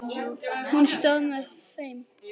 Hún stóð með þeim.